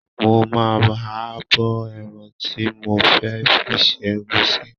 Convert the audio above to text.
Mo ma, ha bọ ẹran tí mo fẹ́ fi se ẹ̀gúsí